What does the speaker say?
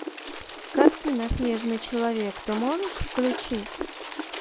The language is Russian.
картина снежный человек ты можешь включить